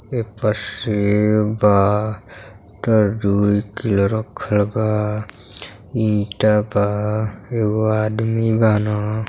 ए प सेव बा तरजुई के रखल बा ईंटा बा एगो आदमी बान।